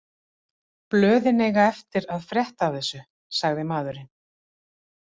Blöðin eiga eftir að frétta af þessu, sagði maðurinn.